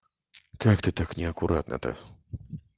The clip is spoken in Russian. как ты так неаккуратно-то